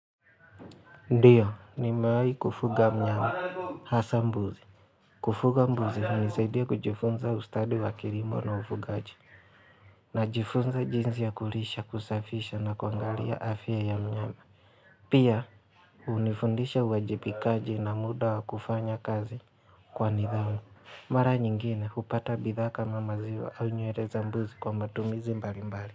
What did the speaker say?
Ndiyo, nimewai kufuga mnyama, hasa mbuzi. Kufuga mbuzi hunisaidia kujifunza ustadi wa kilimo na ufugaji. Najifunza jinsi ya kulisha, kusafisha na kuangalia afya ya mnyama. Pia, hunifundisha uajibikaji na muda wa kufanya kazi kwa nidhamu. Mara nyingine, hupata bidhaa kama maziwa au nywele za mbuzi kwa matumizi mbali mbali.